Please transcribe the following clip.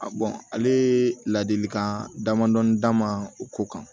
bɔn ale ladilikan damadɔni d'a ma o ko kan